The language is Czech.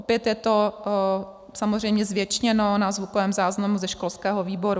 Opět je to samozřejmě zvěčněno na zvukovém záznamu ze školského výboru.